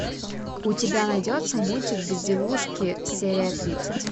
у тебя найдется мультик безделушки серия тридцать